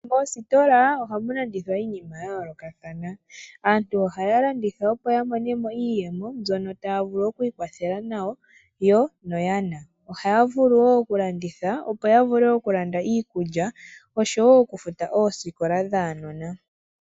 Moositola ohamu landithwa iinima yayoolokathana. Aantu ohaya landitha opo yamone mo iiyemo mbyono taya vulu okwiikwathela nayo yo noyana. Ohaya vulu wo okulanditha opo yavule okulanda iikulya oshowo okufuta oositola dhaanona.